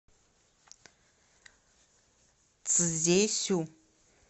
цзесю